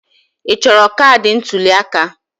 Ị chọrọ kaadị ntuli aka?